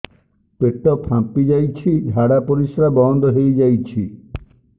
ପେଟ ଫାମ୍ପି ଯାଇଛି ଝାଡ଼ା ପରିସ୍ରା ବନ୍ଦ ହେଇଯାଇଛି